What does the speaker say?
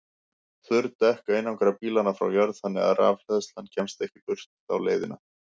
Þurr dekk einangra bílana frá jörð þannig að rafhleðslan kemst ekki burt þá leiðina.